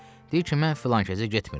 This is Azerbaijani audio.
Deyir ki, mən filankəsə getmirəm.